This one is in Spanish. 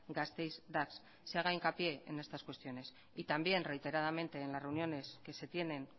gasteiz dax se haga hincapié en estas cuestiones y también reiteradamente en las reuniones que se tienen